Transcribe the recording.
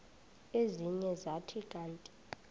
ezinye zathi kanti